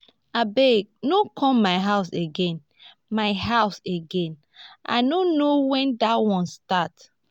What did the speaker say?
abeg no come my house again my house again i no know wen dat one start